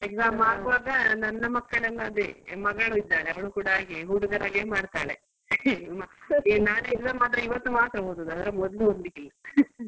Exam ಆಗುವಾಗ ನನ್ನ ಮಕ್ಕಳನ್ನ ಅದೇ ಮಗಳಿದ್ದಾಳೆ ಅವ್ಳು ಕೂಡ ಹಾಗೆ ಹುಡುಗರ ಹಾಗೆ ಮಾಡ್ತಾಳೆ ನಾಳೆ exam ಆದ್ರೆ ಇವತ್ ಮಾತ್ರ ಓದೋದು ಅದರ ಮೊದ್ಲು ಓದ್ಲಿಕ್ಕೆ ಇಲ್ಲ.